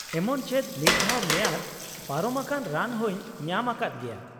ᱮᱢᱚᱱ ᱪᱮᱫ ᱢᱤᱫ ᱫᱷᱟᱣ ᱢᱮᱭᱟᱫ ᱯᱟᱨᱚᱢ ᱟᱠᱟᱱ ᱨᱟᱱ ᱦᱚᱸᱧ ᱧᱟᱢ ᱟᱠᱟᱫ ᱜᱮᱭᱟ ᱾